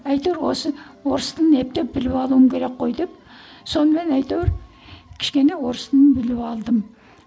әйтеуір осы орыс тілін ептеп біліп алуым керек қой деп сонымен әйтеуір кішкене орыс тілін біліп алдым